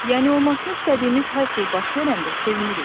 Yəni olmasına istədiyimiz hər şey baş verəndə sevinirik.